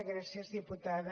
gràcies diputada